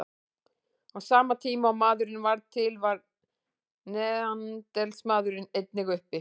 Á sama tíma og maðurinn varð til var neanderdalsmaðurinn einnig uppi.